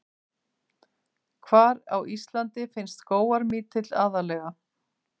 Hvar á Íslandi finnst skógarmítill aðallega?